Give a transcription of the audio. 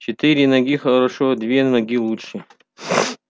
четыре ноги хорошо две ноги лучше